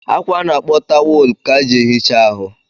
Akwa a na-akpọ tawolo ka ji ehicha ahụ